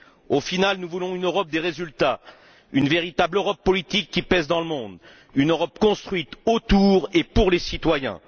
Au final, nous voulons une Europe des résultats, une véritable Europe politique qui pèse dans le monde, une Europe construite autour des citoyens et pour les citoyens.